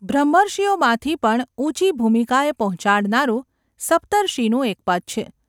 બ્રહ્મર્ષિઓમાંથી પણ ઊંચી ભૂમિકાએ પહોંચાડનારું સપ્તર્ષિનું એક પદ છે.